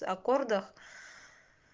аккордах